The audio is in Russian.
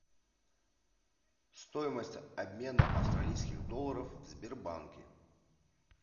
стоимость обмена австралийских долларов в сбербанке